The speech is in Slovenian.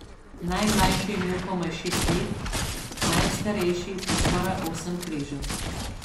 Najmlajši je imel komaj šest let, najstarejši pa skoraj osem križev ...